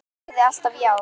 Ég sagði alltaf já.